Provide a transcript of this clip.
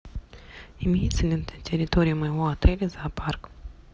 имеется ли на территории моего отеля зоопарк